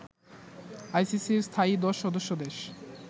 আইসিসির স্থায়ী দশ সদস্য দেশ